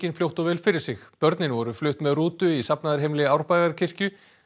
fljótt og vel fyrir sig börnin voru flutt með rútu í safnaðarheimili Árbæjarkirkju